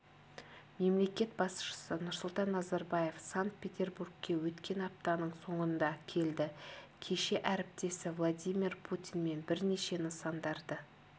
мемлекет басшысы нұрсұлтан назарбаев санкт петербургке өткен аптаның соңында келді кеше ріптесі владимир путинмен бірнеше нысандарды